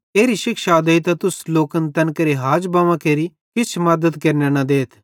एरी शिक्षा देइतां तुस लोकन तैन केरे हाज बव्वां केरि किछ मद्दत केरने न देथ